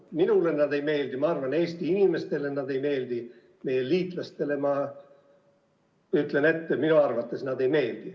Minule need ei meeldi ja ma arvan, Eesti inimestele need ei meeldi ja meie liitlastele – ma ütlen ette – minu arvates need ei meeldi.